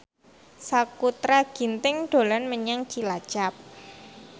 Sakutra Ginting dolan menyang Cilacap